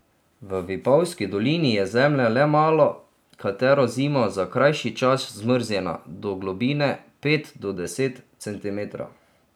V Vipavski dolini je zemlja le malo katero zimo za krajši čas zmrznjena do globine pet do deset centimetrov.